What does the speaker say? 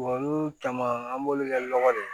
Olu caman an b'olu kɛ nɔgɔ de